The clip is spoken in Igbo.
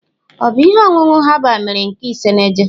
Ọ bụ ihe ọṅụṅụ herbal mere nke isenaje?